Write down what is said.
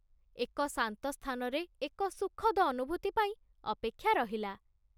ଏକ ଶାନ୍ତ ସ୍ଥାନରେ ଏକ ସୁଖଦ ଅନୁଭୂତି ପାଇଁ ଅପେକ୍ଷା ରହିଲା।